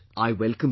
I welcome this